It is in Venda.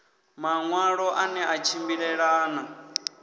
maṋwalo a ne a tshimbilelana